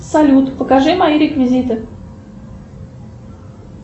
салют покажи мои реквизиты